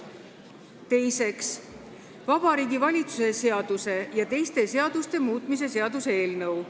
Teiseks, Vabariigi Valitsuse seaduse ja teiste seaduste muutmise seaduse eelnõu.